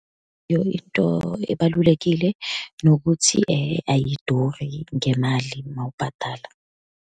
Into ebalulekile, nokuthi ayiduri ngemali uma ubhadala.